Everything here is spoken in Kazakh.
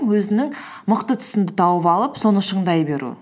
өзіңнің мықты тұсыңды тауып алып соны шыңдай беру